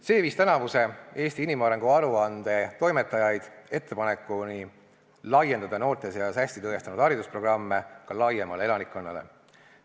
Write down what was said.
See viis tänavuse Eesti inimarengu aruande toimetajad ettepanekuni laiendada noorte seas ennast hästi tõestanud haridusprogramme ka laiemale elanikkonnale.